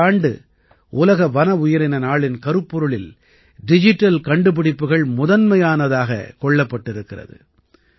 இந்த ஆண்டு உலக வன உயிரின நாளின் கருப்பொருளில் டிஜிட்டல் கண்டுபிடுப்புகள் முதன்மையானதாகக் கொள்ளப்பட்டிருக்கிறது